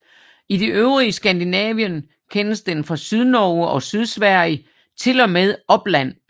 I det øvrige Skandinavien kendes den fra Sydnorge og Sydsverige til og med Uppland